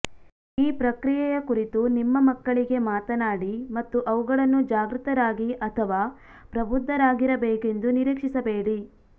ಈ ಪ್ರಕ್ರಿಯೆಯ ಕುರಿತು ನಿಮ್ಮ ಮಕ್ಕಳಿಗೆ ಮಾತನಾಡಿ ಮತ್ತು ಅವುಗಳನ್ನು ಜಾಗೃತರಾಗಿ ಅಥವಾ ಪ್ರಬುದ್ಧರಾಗಿರಬೇಕೆಂದು ನಿರೀಕ್ಷಿಸಬೇಡಿ